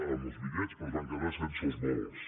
amb els bitllets però es van quedar sense els vols